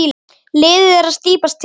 Liðið er að slípast til.